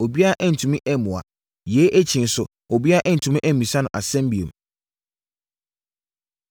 Obiara antumi ammua. Yei akyi nso, obiara antumi ammisa no nsɛm bio.